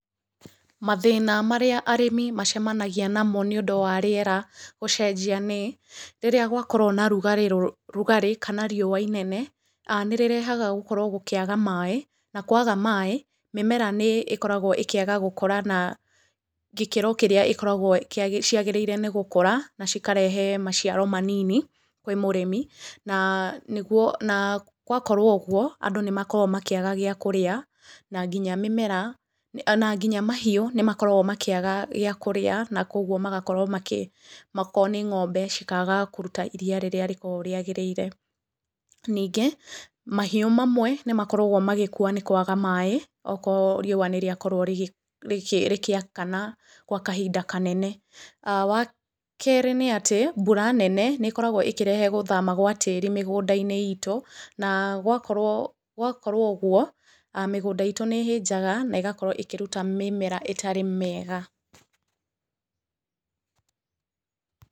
Mathĩna marĩa arĩmi macamanagia namo nĩ ũndũ wa rĩera gũcenjia nĩ: rĩrĩa gwakorwo na ũrugarĩ kana rĩũa inene, nĩ rĩrehaga gũkorwo gũkĩaga maaĩ, na kwaga maaĩ mĩmera nĩ ĩkoragwo ĩkĩaga gũkũra na gĩkĩro kĩrĩa ĩkoragwo ciagĩrĩire nĩ gũkũra na cikarehe maciaro manini kwĩ mũrĩmi, na gwakorwo ũguo andũ nĩ makoragwo makĩaga gĩa kũrĩa, na nginya mahiũ nĩ makoragwo makĩaga gĩa kũrĩa na kogwo magakorwo makĩ, okorwo nĩ ng'ombe cikaga kũruta iria rĩrĩa rĩkoragwo rĩagĩrĩire. Ningĩ, mahiũ mamwe nĩ makoragwo magĩkua nĩ kwaga maaĩ okorwo rĩũa nĩ rĩakorwo rĩgĩakana gwa kahinda kanene. Wa kerĩ nĩ atĩ mbura nene nĩ ĩkoragwo ĩkĩrehe gũthama gwa tĩri mĩgũnda-inĩ itũ, na gwakorwo ũguo, mĩgũnda itũ nĩ ĩhĩnjaga, na ĩgakorwo ĩkĩruta mĩmera ĩtarĩ mĩega.